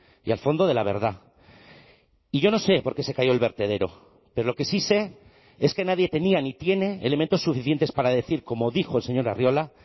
y al fondo de la verdad y yo no sé por qué se cayó el vertedero pero lo que sí sé es que nadie tenía ni tiene elementos suficientes para decir como dijo el señor arriola